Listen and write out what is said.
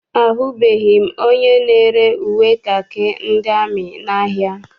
Ahụbeghị m onye na-ere uwe kakị ndị amị n'ahia.